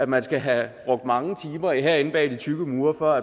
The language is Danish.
man skal have brugt mange timer herinde bag de tykke mure for